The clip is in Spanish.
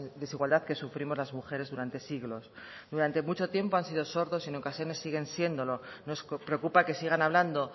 desigualdad que sufrimos las mujeres durante siglos durante mucho tiempo han sido sordos en ocasiones siguen siéndolo nos preocupa que sigan hablando